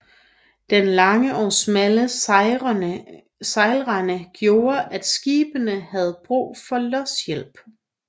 Den lange og smalle sejlrende gjorde at skibene havde brug for lodshjælp